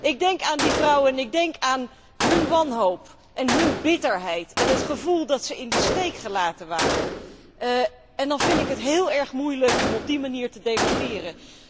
Ik denk aan die vrouwen en ik denk aan hun wanhoop en hun bitterheid en het gevoel dat ze in de steek gelaten waren en dan vind ik het heel erg moeilijk om op die manier te debatteren.